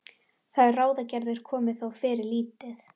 Þær ráðagerðir komu þó fyrir lítið.